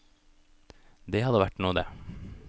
Det hadde vært noe, det.